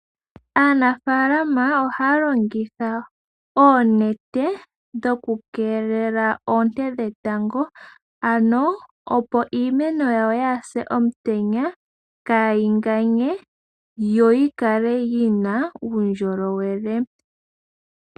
Aanafaalama ohaya longitha oonete dhoku keelela oonte dhetango ano opo iimeno yawo yaase omutenya . Kaayi ganye yo yi kale yina uundjolowele.